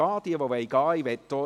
Wer gehen möchte, darf dies tun.